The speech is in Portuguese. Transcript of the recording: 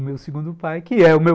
O meu segundo pai, que é o meu